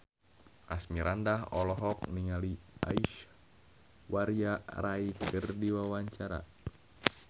Asmirandah olohok ningali Aishwarya Rai keur diwawancara